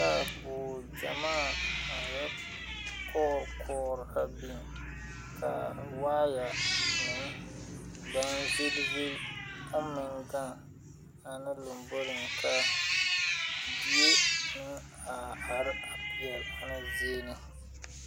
Taayaboore gyamaa aŋ yɛ kɔɔre kɔɔre a biŋ kaa waayɛ meŋ baŋ vilevile oŋ meŋ gaŋ ana lomboriŋ ka die kaŋa a are pɛɛle ana zie ne .